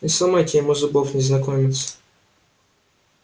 не сломайте ему зубов незнакомец